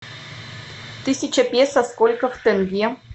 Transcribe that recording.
тысяча песо сколько в тенге